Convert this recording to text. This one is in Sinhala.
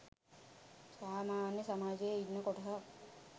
සාමාන්‍ය සමාජයේ ඉන්න කොටසක්.